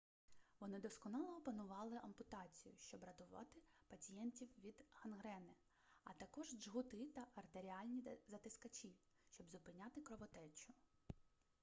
вони досконало опанували ампутацію щоб рятувати пацієнтів від гангрени а також джгути та артеріальні затискачі щоб зупиняти кровотечу